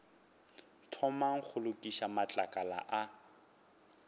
thomang go lokiša matlakala a